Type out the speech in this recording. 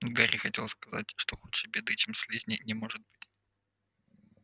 гарри хотел сказать что худшей беды чем слизни не может быть